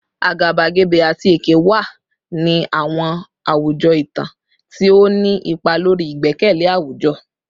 Agabagebe ati eke wa ni awọn awujọ itan, ti o ni ipa lori igbẹkẹle awujọ